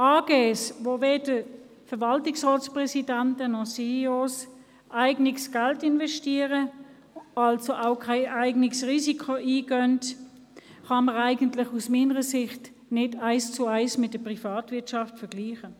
Aktiengesellschaften, bei welchen weder die Verwaltungsratspräsidenten noch CEOs eigenes Geld investieren, also auch kein eigenes Risiko eingehen, kann man aus meiner Sicht nicht eins zu eins mit der Privatwirtschaft vergleichen.